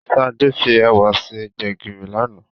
Sade fi èwà ṣe Gbégiri lánàá